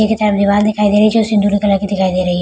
पीछे की तरफ दीवाल दिखाई दे रही है जो सिंदूरी कलर की दिखाई दे रही हैं।